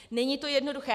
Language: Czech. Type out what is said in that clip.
Není to jednoduché.